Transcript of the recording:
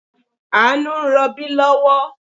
Àánú ń rọbí lọ́wọ́